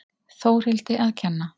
Þórhildi að kenna.